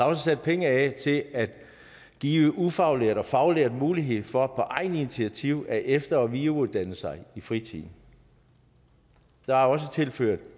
også sat penge af til at give ufaglærte og faglærte mulighed for på eget initiativ at efter og videreuddanne sig i fritiden der er også tilført